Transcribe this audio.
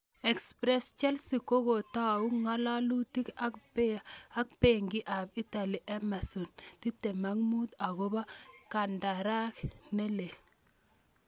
(Express) Chelsea kokokotau ngalalutik ak Beki ab Italy Emerson, 25, akopo kandarak nilel.